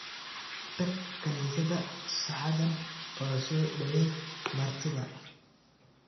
Tag kaniisadda saacadan oo soo dhaweey martida